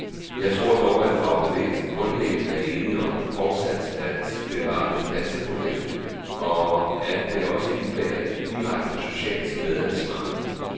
Jeg tror dog, at fagbevægelsen grundlæggende er enig om fortsat at bevare den danske model, og at det også indebærer et direkte socialt medansvar.